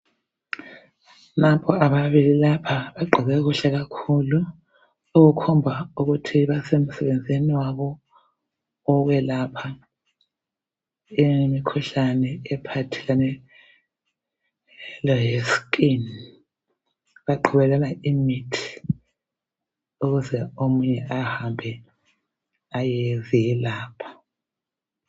Nampa ababili lapha, bagqoke kuhle kakhulu, okukhomba ukuthi basemsebenzini wabo owokwelapha imkhuhlane ephathelane le skin. Baqhubelana imithi ukuze omunye ahambe ayezelapha.